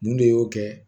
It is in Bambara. Mun de y'o kɛ